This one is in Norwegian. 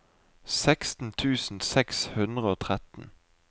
seksten tusen seks hundre og tretten